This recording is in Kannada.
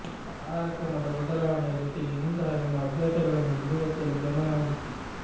ಆಹಾರ ಕ್ರಮದ ಬದಲಾವಣೆಯ ಜೊತೆಗೆ ಇಂತಹ ನಿಮ್ಮ ಅಭ್ಯಾಸಗಳನ್ನು ಬಿಡುವತ್ತಲೂ ಗಮನ ಹರಿಸಿ